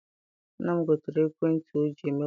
Nna m gotere ekwentị ọ ji eme wasaapụ.